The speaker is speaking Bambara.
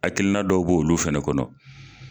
Akilina dɔw b'olu fɛnɛ kɔnɔ.